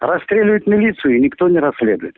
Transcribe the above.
расстреливают милицию и никто не расследует